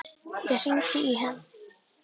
Ég hringdi í hann.